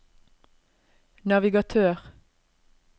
navigatør